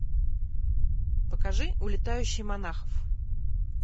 покажи улетающий монахов